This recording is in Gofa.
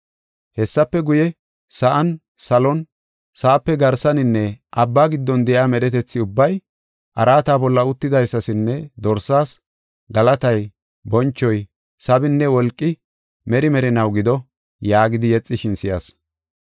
Hessafe guye, sa7an, salon, sa7ape garsaninne abba giddon de7iya medhetethi ubbay, “Araata bolla uttidaysasinne Dorsaas, galatay, bonchoy, sabinne wolqi, meri merinaw gido” yaagidi yexishin si7as.